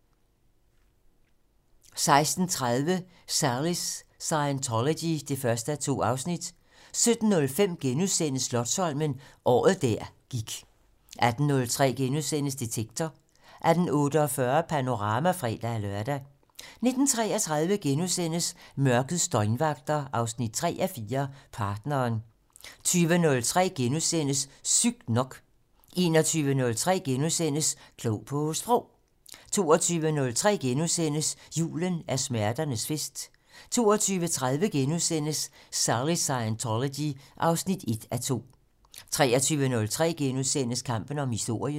16:30: Sallys Scientology 1:2 17:05: Slotsholmen - året der gik * 18:03: Detektor * 18:48: Panorama (fre-lør) 19:33: Mørkets døgnvagter 3:4 - Partneren * 20:03: Sygt nok * 21:03: Klog på Sprog * 22:03: Julen er smerternes fest * 22:30: Sallys Scientology 1:2 * 23:03: Kampen om historien *